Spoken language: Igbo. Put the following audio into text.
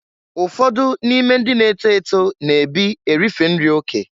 Ụfọdụ n'ime ndị na-eto eto na-ebi erife nri oke.